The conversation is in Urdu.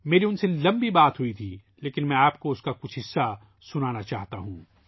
میری اُن سے کافی طویل بات ہوئی تھی لیکن میں آپ کو کچھ حصہ سنانا چاہتا ہوں